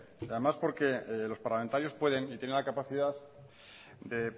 además porque los parlamentarios pueden y tienen la capacidad de